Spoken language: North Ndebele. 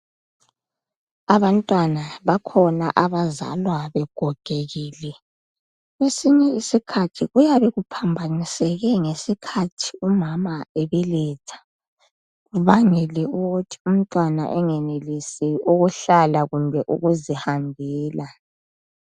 Abantwana bakhona abazalwa begogekile. Kwesinye isikhathi kuyabe kuphambaniseke ngesikhathi umama ebeletha kubangela ukuthi umntwana angenellsi ukuhlala kumbe ukuzihambela.